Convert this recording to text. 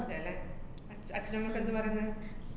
അതേല്ലേ. അച്~ അച്ഛനുമമ്മേക്കെ എന്ത് പറേന്ന്?